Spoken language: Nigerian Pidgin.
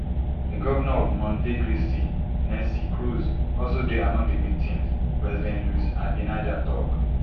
di govnor of monte cristi nelsy cruz also dey among di victims president luis abinader tok